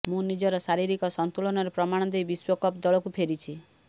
ମୁଁ ନିଜର ଶାରୀରିକ ସନ୍ତୁଳନର ପ୍ରମାଣ ଦେଇ ବିଶ୍ବକପ୍ ଦଳକୁ ଫେରିଛି